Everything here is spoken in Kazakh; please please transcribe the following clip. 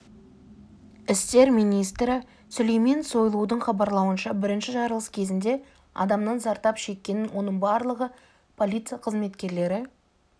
істер министрі сүлейман сойлудың хабарлауынша бірінші жарылыс кезінде адамның зардап шеккенін оның барлығы полиция қызметерлері